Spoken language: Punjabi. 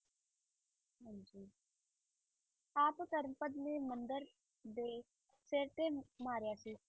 ਆਪ ਧਰਮਪਦ ਨੇ ਮੰਦਿਰ ਦੇ ਸਿਰ ਤੇ ਮਾਰਿਆ ਸੀ।